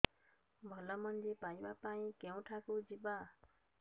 ଭଲ ମଞ୍ଜି ପାଇବା ପାଇଁ କେଉଁଠାକୁ ଯିବା